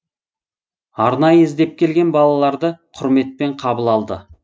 арнайы іздеп келген балаларды құрметпен қабыл алды